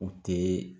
U tɛ